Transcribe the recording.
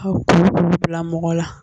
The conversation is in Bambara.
Ka kulu kulu mɔgɔ la